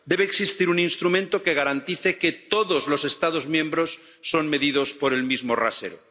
Debe existir un instrumento que garantice que todos los Estados miembros son medidos por el mismo rasero.